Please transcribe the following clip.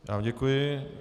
Já vám děkuji.